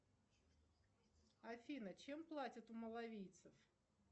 афина чем платят у малавийцев